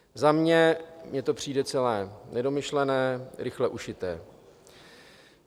Za mě mi to přijde celé nedomyšlené, rychle ušité.